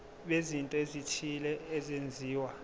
bezinto ezithile ezenziwa